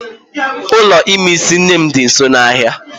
Ụlọ ime isi nne m di nso n'ahia